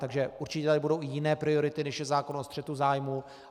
Takže určitě tady budou i jiné priority, než je zákon o střetu zájmů.